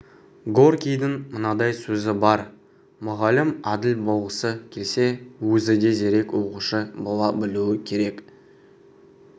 горькийдің мынадай сөзі бар мұғалім әділ болғысы келсе өзі де зерек оқушы бола білуі керек